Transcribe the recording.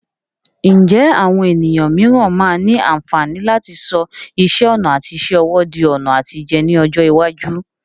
Ǹjẹ́ àwọn ènìyàn mìíràn máa ní àǹfààní láti sọ iṣẹ́ ọnà àti iṣẹ́ ọwọ́ di ọ̀nà àtijẹ ní ọjọ́ iwájú?